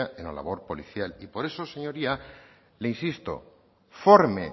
en la labor policial y por eso señoría le insisto forme